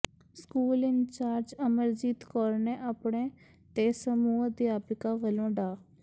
school in charge Amarjit Kaur ਨੇ ਆਪਣੇ ਤੇ ਸਮੂਹ ਅਧਿਆਪਕਾਂ ਵੱਲੋਂ ਡਾ